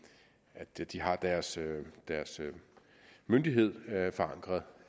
at de har deres myndighed forankret